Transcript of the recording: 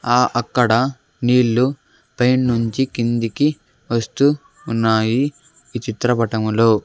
ఆ అక్కడ నీళ్లు పై నుంచి కిందికి వస్తూ ఉన్నాయి ఈ చిత్రపటములో.